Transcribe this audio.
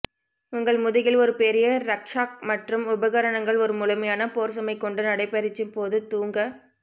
உங்கள் முதுகில் ஒரு பெரிய ரக்ஷாக் மற்றும் உபகரணங்கள் ஒரு முழுமையான போர் சுமை கொண்டு நடைபயிற்சி போது தூங்க